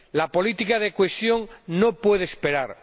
La política de cohesión no puede esperar.